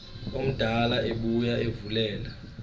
omdala ebuya evulela